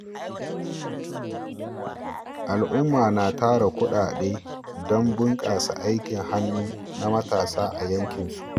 Al’umma na tara kudade don bunkasa aikin hannu na matasa a yankinmu.